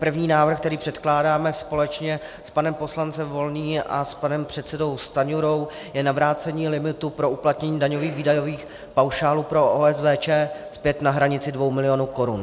První návrh, který předkládáme společně s panem poslancem Volným a panem předsedou Stanjurou, je na vrácení limitu pro uplatnění daňových výdajových paušálů pro OSVČ zpět na hranici 2 milionů korun.